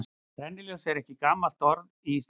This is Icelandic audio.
Rennilás er ekki gamalt orð í íslensku.